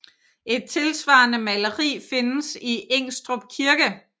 Et tilsvarende maleri findes i Ingstrup kirke